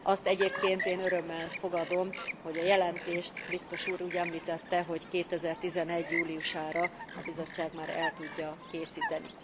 Azt egyébként én örömmel fogadom, hogy a jelentést biztos úr úgy említette, hogy 2011 júliusára a Bizottság már el tudja készíteni.